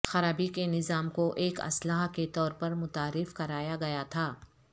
خرابی کے نظام کو ایک اصلاح کے طور پر متعارف کرایا گیا تھا